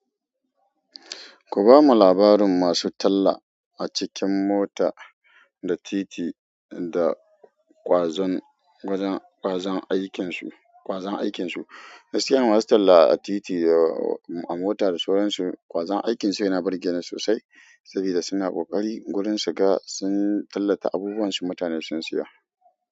Ku bamu labarin masu talla a cikin mota da titi da ƙwazon, ƙwazon, ƙwazon aikinsu, ƙwazon aikinsu. Gaskiya masu talla a titi da a mota da sauransu ƙwazon aikinsu yana burge ni sosai sabida suna ƙoƙari gurin su ga sun tallata abubuwan su mutane sun siyo.